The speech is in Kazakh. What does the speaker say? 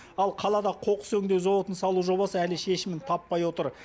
ал қалада қоқыс өңдеу зауытын салу жобасы әлі шешімін таппай отыр